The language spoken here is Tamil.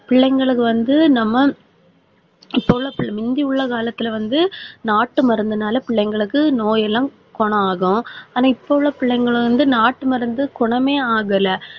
பிள்ளைங்களுக்கு வந்து நம்ம இப்ப உள்ள முந்தி உள்ள காலத்துல வந்து நாட்டு மருந்துனால பிள்ளைங்களுக்கு நோயெல்லாம் குணமாகும். ஆனா இப்ப உள்ள பிள்ளைங்களை வந்து நாட்டு மருந்து குணமே ஆகல